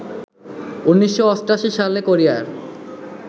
১৯৮৮ সালে কোরিয়ার